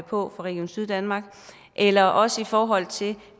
på fra region syddanmark eller også i forhold til